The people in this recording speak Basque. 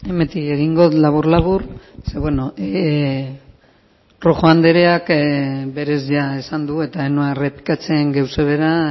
hemendik egingo dut labur labur bueno rojo andereak berez esan du eta ez noa errepikatzen gauza bera